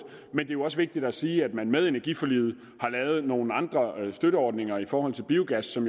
men det er også vigtigt at sige at man med energiforliget har lavet nogle andre støtteordninger i forhold til biogas som